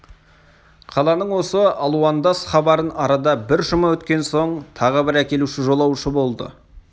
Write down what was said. қаланың осы алуандас хабарын арада бір жұма өткен соң тағы бір әкелуші жолаушы болды